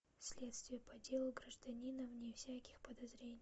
следствие по делу гражданина вне всяких подозрений